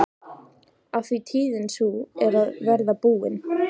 Af því tíðin sú er að verða búin.